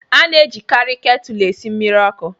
A na-ejikarị ketụlụ esi mmiri ọkụ